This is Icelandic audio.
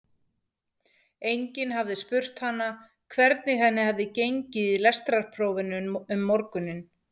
Enginn hafði spurt hana hvernig henni hefði gengið í lestrarprófinu um morguninn.